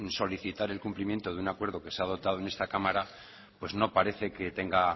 solicitar el cumplimiento de un acuerdo que se ha adoptado en esta cámara pues no parece que tenga